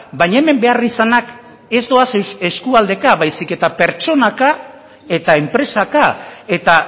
baina hemen beharrizanak ez doaz eskualdeka baizik eta pertsonaka eta enpresaka eta